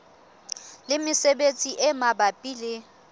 le mesebetsi e mabapi le